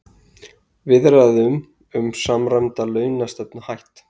Viðræðum um samræmda launastefnu hætt